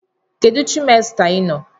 Kedu trimester ị nọ?